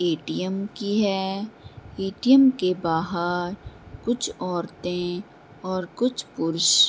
ATM. की है ATM. के बाहर कुछ औरतें और कुछ पुरुष --